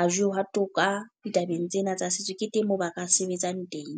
a jewa toka ditabeng tsena tsa setso. Ne teng moo ba ka sebetsang teng.